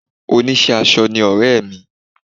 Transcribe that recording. oníṣẹ́ aṣọ ni ọ̀rẹ́ mi